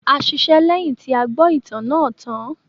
A ṣiṣẹ́ lẹ́yìn tí a gbọ́ ìtàn náà tàn án.